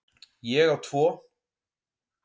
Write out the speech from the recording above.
Ég á tvo.